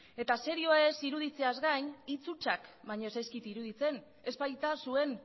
eta serioa ez iruditzeaz gain hitz hutsak baino ez zaizkit iruditzen ez baita zuen